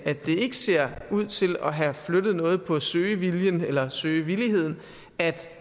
ikke ser ud til at have flyttet noget på søgeviljen eller søgevilligheden at